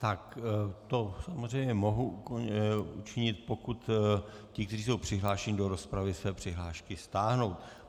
Tak to samozřejmě mohu učinit, pokud ti, kteří jsou přihlášeni do rozpravy, své přihlášky stáhnou.